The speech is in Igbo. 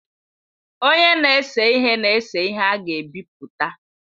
Onye na-ese ihe na-ese ihe a ga-ebipụta.